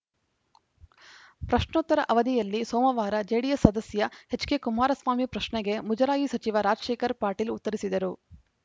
ಪ್ರಶ್ನೋತ್ತರ ಅವಧಿಯಲ್ಲಿ ಸೋಮವಾರ ಜೆಡಿಎಸ್‌ ಸದಸ್ಯ ಎಚ್‌ಕೆ ಕುಮಾರಸ್ವಾಮಿ ಪ್ರಶ್ನೆಗೆ ಮುಜರಾಯಿ ಸಚಿವ ರಾಜಶೇಖರ್‌ ಪಾಟೀಲ್‌ ಉತ್ತರಿಸಿದರು